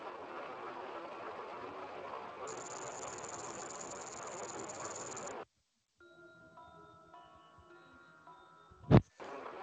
one curtain wey conceal three volunteers bin open at one thousand, eight hundred and one